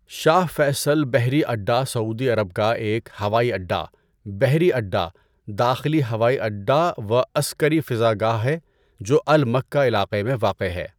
شاہ Faisal بحری اڈا Saudi Arab کا ایک ہوائی اڈا، بحری اڈا، داخلی ہوائی اڈا و عسکری فضاگاہ ہے جو المکہ علاقہ میں واقع ہے۔